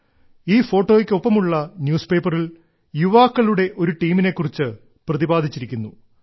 ഈ ഫോട്ടോയ്ക്ക് ഒപ്പമുള്ള ന്യൂസ് പേപ്പറിൽ യുവാക്കളുടെ ഒരു ടീമിനെ കുറിച്ച് പ്രതിപാദിച്ചിരിക്കുന്നു